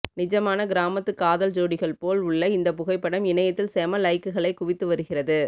நிஜமான கிராமத்து காதல் ஜோடிகள் போல் உள்ள இந்த புகைப்படம் இணையத்தில் செம லைக்குகளை குவித்து வருகிறது